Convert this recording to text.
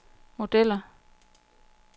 modeller